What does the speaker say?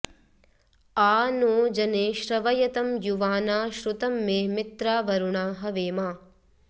आ नो जने श्रवयतं युवाना श्रुतं मे मित्रावरुणा हवेमा